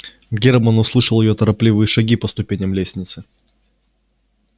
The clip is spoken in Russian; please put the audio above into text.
германн услышал её торопливые шаги по ступеням лестницы